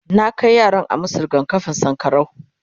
na Kai yaran a masu rigakafin sankarau